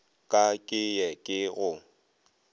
ka ke ye ke go